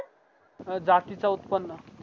जातीचं उत्पन्न